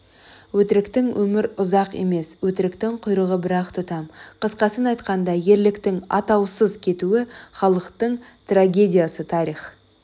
өтіріктің өмірі ұзақ емес өтіріктің құйрығы бір-ақ тұтам қысқасын айтқанда ерліктің атаусыз кетуі халықтың трагедиясы тарих